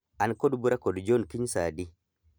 An kod bura kod John kiny saa adi?